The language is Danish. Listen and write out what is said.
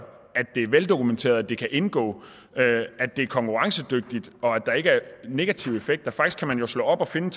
at det er veldokumenteret at det kan indgå at det er konkurrencedygtigt og at der ikke er negative effekter faktisk kan man jo slå op og finde